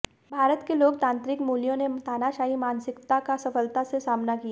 भारत के लोकतांत्रिक मूल्यों ने तानाशाही मानसिकता का सफलता से सामना किया